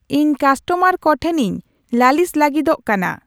ᱤᱧ ᱠᱟᱥᱴᱚᱢᱟᱨ ᱠᱚᱴᱷᱮᱱᱤᱧ ᱞᱟᱹᱞᱤᱥ ᱞᱟᱹᱜᱤᱫᱚᱜ ᱠᱟᱱᱟ